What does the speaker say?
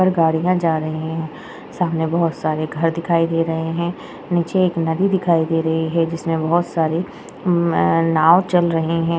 पर गाड़िया जा रही है। सामने बोहोत सारे घर दिखाई दे रहे है। नीचे एक नदी दिखाई दे रही है जिसमे बहुत सारे उम्म अ नाव चल रहे है।